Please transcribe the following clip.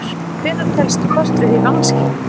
Hvenær telst kort vera í vanskilum?